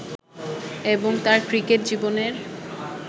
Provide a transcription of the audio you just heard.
এবং তাঁর ক্রিকেট জীবনের